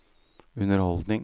underholdning